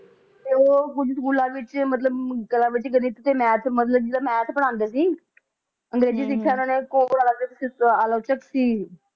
ਤੇ ਉਹ ਕੁਛ ਸਕੂਲਾਂ ਵਿਚ ਮਤਲਬ ਕਿ math ਪੜ੍ਹਾਉਂਦੇ ਸੀ ਅੰਗਰੇਜ਼ੀ ਸਿੱਖਿਆ